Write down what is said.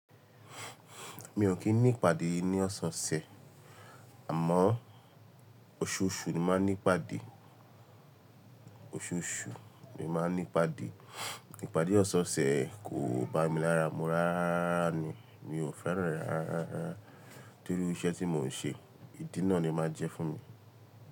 Mi ò kí ní ìpàdé ní ọ̀sẹ̀ ọ̀sẹ̀, àmọ́ oṣooṣù ni mo máa ń ní ìpàdé, oṣooṣù ni mo máa ń ní ìpàdé. Ìpàdé ọ̀sẹ̀ ọ̀sẹ̀ kò bá mi lára, mo rárá rárá ni, mi ò fẹ́ràn rárá rárá torí iṣẹ́ tí mò ń ṣe, ìdí náà ni máa ń jẹ́ fún mi.